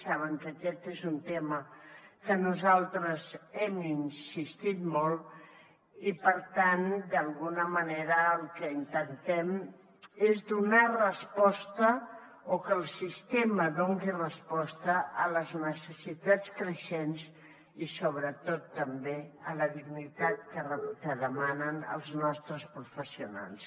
saben que aquest és un tema en què nosaltres hem insistit molt i per tant d’alguna manera el que intentem és donar resposta o que el sistema doni resposta a les necessitats creixents i sobretot també a la dignitat que demanen els nostres professionals